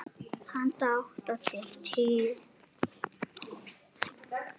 Handa átta til tíu